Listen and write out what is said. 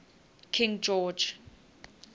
king george